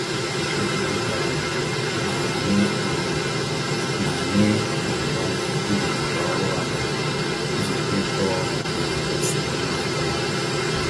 Ekwupụtara m na anyị m na anyị na-agbalị ibelata ọrụ abalị iji kwekọọ na usoro ụmụaka.